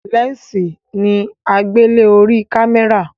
lẹnsi ni agbele orí kámẹ́rà